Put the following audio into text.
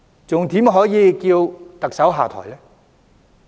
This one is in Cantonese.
還怎能叫特首下台呢？